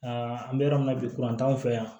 an bɛ yɔrɔ min na bi kuran t'anw fɛ yan